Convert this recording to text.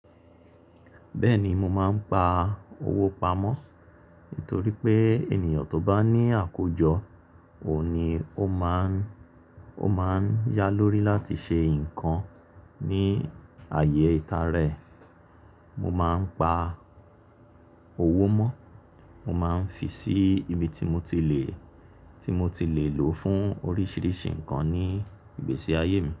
Bẹ́ẹ̀ni, mo máa ń pa owó pamọ́ nítorí pé ènìyàn tó bá ní àkójọ òun ni ó máa ń, ó máa ń yá lórí láti ṣe nǹkan ní ààyè ita rẹ̀. Mo máa ń pa owó mọ́, mo máa ń fi sí ibi tí mo ti le, tí mo ti le lò fún oríṣiríṣi nǹkan ní ìgbésí ayé mi.